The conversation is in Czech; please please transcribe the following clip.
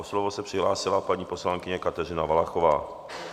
O slovo se přihlásila paní poslankyně Kateřina Valachová.